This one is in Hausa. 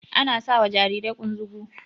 Ana sawa Jarirai kunzugun